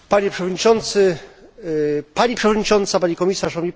Panie Przewodniczący, Pani Przewodnicząca, Pani Komisarz!